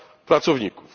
pracowników